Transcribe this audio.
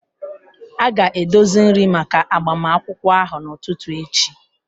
A ga-edozi nri maka agbamakwụkwọ ahụ n'ụtụtụ echi